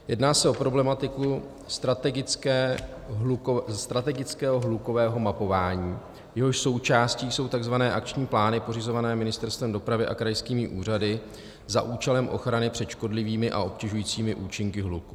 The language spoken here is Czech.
Jedná se o problematiku strategického hlukového mapování, jehož součástí jsou tzv. akční plány pořizované Ministerstvem dopravy a krajskými úřady za účelem ochrany před škodlivými a obtěžujícími účinky hluku.